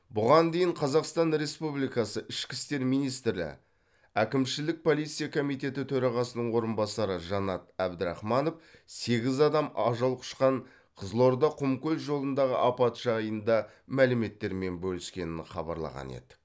бұған дейін қазақстан республикасы ішкі істер министрі әкімшілік полиция комитеті төрағасының орынбасары жанат әбдірахманов сегіз адам ажал құшқан қызылорда құмкөл жолындағы апат жайында мәліметтермен бөліскенін хабарлаған еді